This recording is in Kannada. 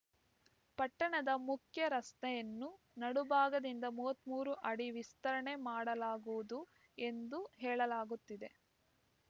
ಪಟ್ಟಣದ ಮುಖ್ಯ ರಸ್ತೆಯನ್ನು ನಡುಭಾಗದಿಂದ ಮೂವತ್ತ್ ಮೂರು ಅಡಿ ವಿಸ್ತರಣೆ ಮಾಡಲಾಗುವುದು ಎಂದು ಹೇಳಲಾಗುತ್ತಿದೆ